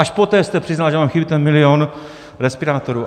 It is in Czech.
Až poté jste přiznal, že vám chybí ten milion respirátorů.